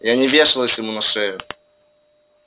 я не вешалась ему на шею